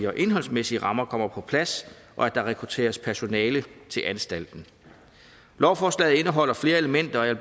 og indholdsmæssige rammer kommer på plads og at der rekrutteres personale til anstalten lovforslaget indeholder flere elementer og jeg